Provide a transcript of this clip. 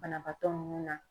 Banabaatɔ nunnu na.